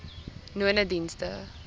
nonedienste